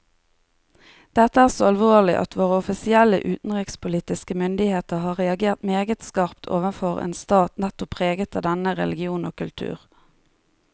Dette er så alvorlig at våre offisielle utenrikspolitiske myndigheter har reagert meget skarpt overfor en stat nettopp preget av denne religion og kultur.